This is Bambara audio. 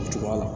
O cogoya la